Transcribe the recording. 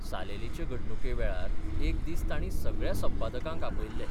सालेलीचे घडणुके वेळार एक दीस तांणी सगळ्या संपादकांक आपयल्ले.